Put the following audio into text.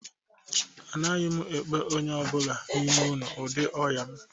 Anaghị m ekpe onye ọ bụla n'ime unu ụdị ọnya m